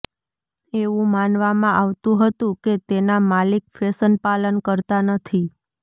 એવું માનવામાં આવતું હતું કે તેના માલિક ફેશન પાલન કરતા નથી